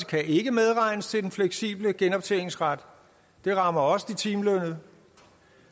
kan ikke medregnes til den fleksible genoptjeningsret det rammer også de timelønnede